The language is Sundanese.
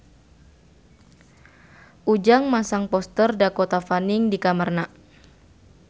Ujang masang poster Dakota Fanning di kamarna